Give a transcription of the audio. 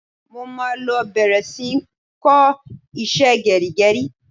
Mo máa lọ bẹ̀rẹ̀ sí ń kọ́ iṣẹ́ gẹrígẹrí.